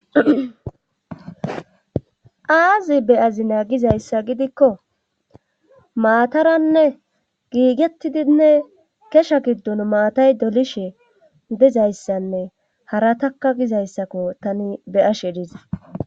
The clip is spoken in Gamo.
aazi be'azina gizayssa gidikko maataranne giigettidinne kesha giddon maatay dolishe dizayssanne harataka gizayssakko tani be'ashe dizay